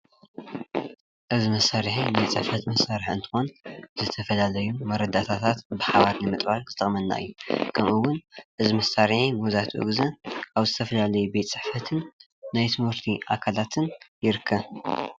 እዚ መሳርሒ ናይ ፅሕፈት መሣርሒ እንትኾን ዝተፈላለዩ መረዳእታታት ብሓባር ንምሓዝ ዝጠቅመና እዩ። ኸምኡ እውን እዚ መሳርሒ መብዛሕቲኡ ግዘ ኣብ ዝተፈላለዩ ቤት ፅሕፈትን ናይ ትምህርቲ ትካላትን ይርከብ።